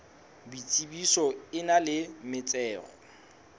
boitsebiso e nang le metsero